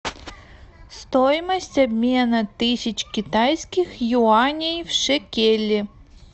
стоимость обмена тысяч китайских юаней в шекели